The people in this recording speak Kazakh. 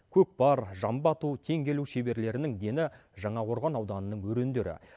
көкпар жамбы ату теңге ілу шеберлерінің дені жаңақорған ауданының өрендері